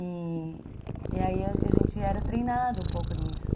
E, e aí a gente era treinado um pouco nisso.